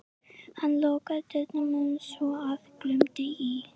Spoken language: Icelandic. Hann lokaði dyrunum svo að glumdi í.